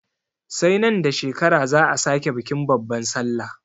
Sai nan da shekara za'a sake bikin babban sallah.